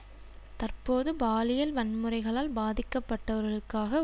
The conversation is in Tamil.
தற்போது பாலியல் வன்முறைகளால் பாதிக்கப்பட்டவர்களுக்காக